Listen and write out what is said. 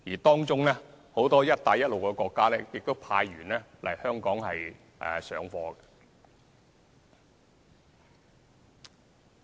當中，很多"一帶一路"國家亦派員來香港上課。